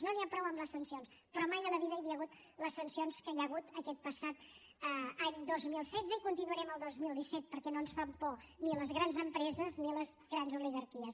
no n’hi ha prou amb les sancions però mai de la vida hi havia hagut les sancions que hi ha hagut aquest passat any dos mil setze i continuarem el dos mil disset perquè no ens fan por ni les grans empreses ni les grans oligarquies